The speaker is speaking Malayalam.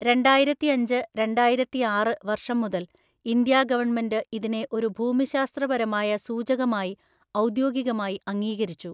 രണ്ടായിരത്തിഅഞ്ച് രണ്ടായിരത്തിആറ് വർഷം മുതൽ ഇന്ത്യാ ഗവൺമെന്റ് ഇതിനെ ഒരു ഭൂമിശാസ്ത്രപരമായ സൂചകമായി ഔദ്യോഗികമായി അംഗീകരിച്ചു.